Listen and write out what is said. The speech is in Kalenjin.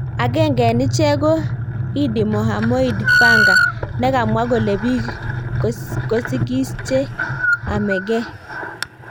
Agenge en icheng ko Iddi Mahamoid Fanga, ne kamwa kole,"pik kosikis che amengee.